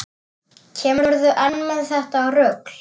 Kemurðu enn með þetta rugl!